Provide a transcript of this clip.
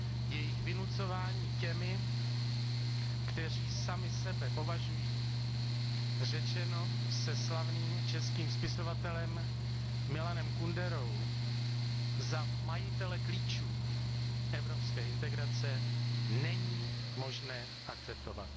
Jejich vynucování těmi, kteří sami sebe považují, řečeno se slavným českým spisovatelem Milanem Kunderou, za majitele klíčů evropské integrace, není možné akceptovat.